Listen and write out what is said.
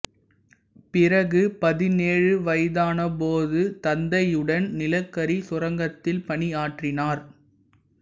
பிறகு பதினேழு வயதான போது தந்தையுடன் நிலக்கரிச் சுரங்கத்தில் பணியாற்றினார்